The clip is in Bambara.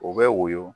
U bɛ woyo